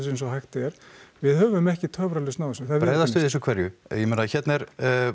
eins og hægt er við höfum ekki töfralausn á þessu það er verið bregðast við þessu hverju ég meina hérna er